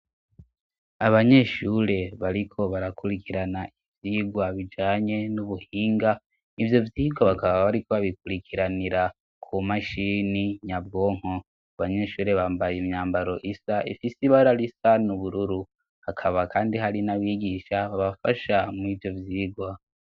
Abanyeshure bariko barakurikirana ivyirwa bijanye n'ubuhinga, ivyo vyirwa bakaba bariko babikurikiranira ku mashini nyabwonko. Abanyeshure bambaye imyambaro isa ifise ibara risa n'ubururu. Hakaba kandi hari n'abigisha babafasha muri ivyo vyirwa.